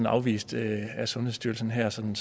afvist af sundhedsstyrelsen her som